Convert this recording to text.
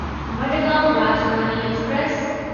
Madgaon Rajdhani express